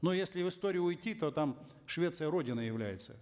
но если в историю уйти то там швеция родиной является